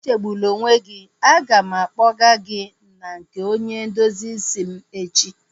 Echegbuna onwe gị, a ga m akpọgaa gị na nke onye ndozi isi m echi